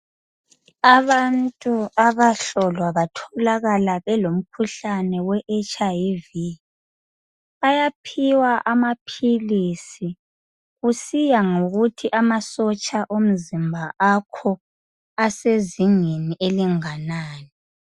Abantu abahlolwa batholakala belomkhuhlane we HIV bayaphiwa amaphilisi kusiya ngokuthi amasotsha omzimba akho asezingeni elinganani.